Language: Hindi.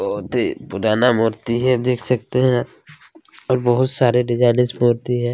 बहुत ही पुराना मूर्ति है देख सकते हैं और बहुत सारे डिजाइनिश मूर्ति है।